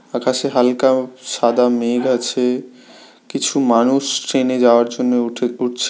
আকাশে হালকা সাদা মেঘ আছে কিছু মানুষ ট্রেন এ যাওয়ার জন্য উঠে উঠছে।